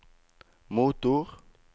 motor